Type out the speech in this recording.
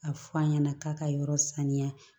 A fɔ an ɲɛna k'a ka yɔrɔ saniya